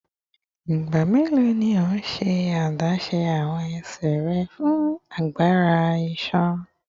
Igba melo ni o ṣe adaṣe awọn ẹsẹ rẹ fun agbara iṣan?